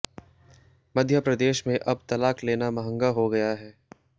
मध्यप्रदेश में अब तलाक लेना महंगा हो गया है